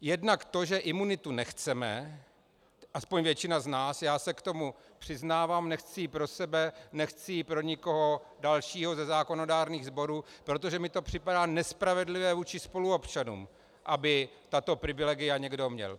Jednak to, že imunitu nechceme, aspoň většina z nás, já se k tomu přiznávám - nechci ji pro sebe, nechci ji pro nikoho dalšího ze zákonodárných sborů, protože mi to připadá nespravedlivé vůči spoluobčanům, aby tato privilegia někdo měl.